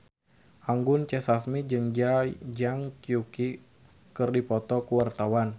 Anggun C. Sasmi jeung Zhang Yuqi keur dipoto ku wartawan